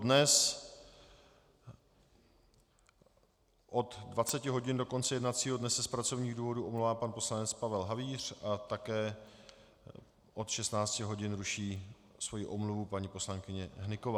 Dnes od 20 hodin do konce jednacího dne se z pracovních důvodů omlouvá pan poslanec Pavel Havíř a také od 16 hodin ruší svoji omluvu paní poslankyně Hnyková.